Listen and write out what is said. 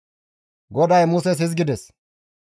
GODAY Muses hizgides,